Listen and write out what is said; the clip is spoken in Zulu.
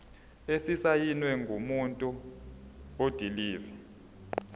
esisayinwe ngumuntu odilive